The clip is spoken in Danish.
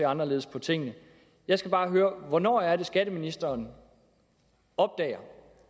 anderledes på tingene jeg skal bare høre hvornår er det at skatteministeren opdager